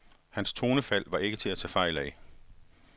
Hans tonefald var ikke til at tage fejl af.